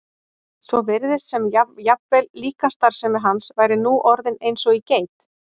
svo virtist sem jafnvel líkamsstarfsemi hans væri nú orðin eins og í geit.